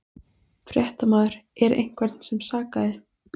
Fréttamaður: Er einhvern sem sakaði?